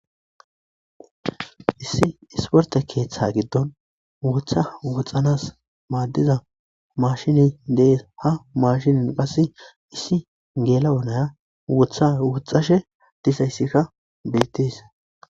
Issi issportte keththan mashshiney dess isdi gela'oykka woxxishe dess.